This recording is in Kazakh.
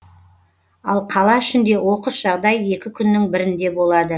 ал қала ішінде оқыс жағдай екі күннің бірінде болады